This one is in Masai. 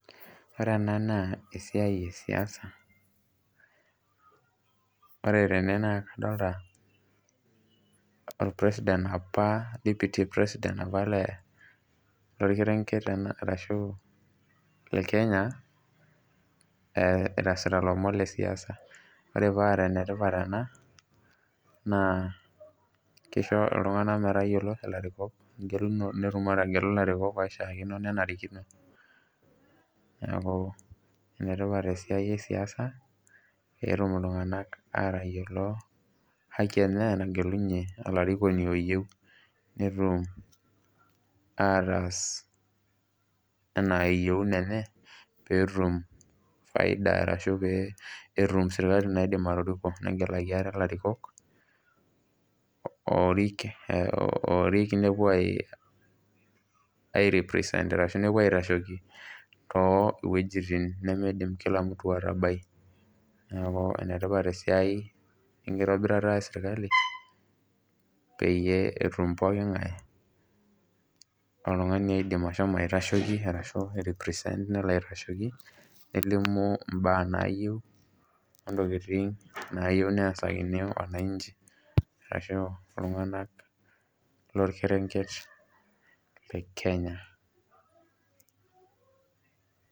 Ore ena naa esiai esiasa, ore tene na kadolta o president apa deputy president le lorkerenket arashu le Kenya, inasita lomon lesiasa. Ore paa enetipat ena, naa kisho iltung'anak metayiolo ilarikok netum ategelu ilarikok oishaakino nenarikino. Neeku, enetipat esiai esiasa, petum iltung'anak atayiolo haki enye nagelunye olarikoni oyieu netum ataas enaa yieuno enye, peetum faida arashu petum serkali naidim atoriko. Negelaki ate larikok, orik nepuo ai represent arashu nepuo aitasheki towuejiting nemeidim kila mtu atabai. Neeku enetipat esiai enkitobirata esirkali, peyie etum pooking'ae oltung'ani oidim ashomo aitasheki arashu ai represent nilo aitasheki, nelimu imbaa naayieu, ontokiting nayieu nesakini wananchi, arashu iltung'anak lorkerenket le Kenya.